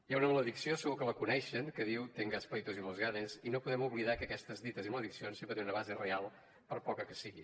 hi ha una maledicció segur que la coneixen que diu tengas pleitos y los ganes i no podem oblidar que aquestes dites i malediccions sempre tenen una base real per poca que sigui